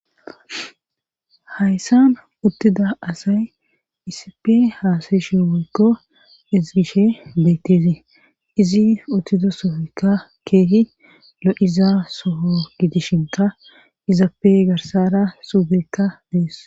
Hayssan uttida asay isippe haasayishi woykko ezigishshe beettssi izi uttiddo sohoykka keehi lo'iza soho giidishshinka izappe garssara suubikka dees